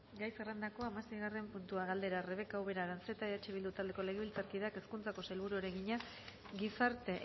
gai zerrendako hamaseigarren puntua galdera rebeka ubera aranzeta eh bildu taldeko legebiltzarkideak hezkuntzako sailburuari egina gizarte